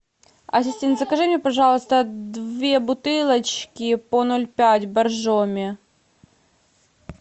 ассистент закажи мне пожалуйста две бутылочки по ноль пять боржоми